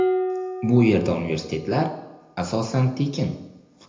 Bu yerda universitetlar asosan tekin.